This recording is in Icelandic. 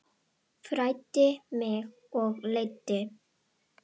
Fræddi mig og leiddi.